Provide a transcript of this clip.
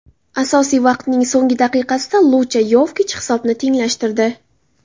Asosiy vaqtning so‘nggi daqiqasida Luka Yovich hisobni tenglashtirdi.